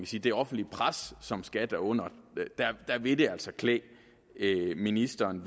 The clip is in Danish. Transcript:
sige det offentlige pres som skat er under vil det altså klæde ministeren